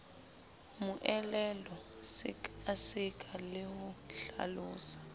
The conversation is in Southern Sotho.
moelelo sekaseka le ho hlalosa